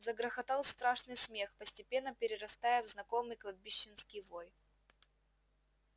загрохотал страшный смех постепенно перерастая в знакомый кладбищенский вой